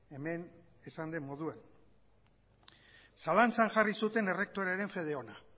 hemen esan den moduan zalantzan jarri zuten errektorearen fede ona